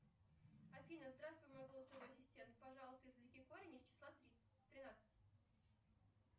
афина здравствуй мой голосовой ассистент пожалуйста извлеки корень из числа три тринадцать